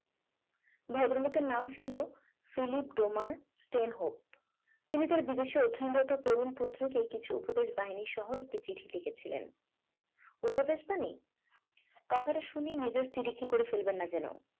ভদ্রলোকের নাম ছিল ফিলিপ ডোমার ট্রেন হোপ তিনি তার বিদেশে অধ্যায়নরত তরুণ পুত্রকে কিছু উপদেশ বাহিনীর সহ একটি চিঠি লিখেছিলেন উপদেশ বাণী কথাটা শুনে মেজার তিরিক্ষি করে ফেলবেন না যেন